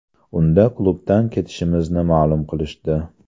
Unda klubdan ketishimizni ma’lum qilishdi.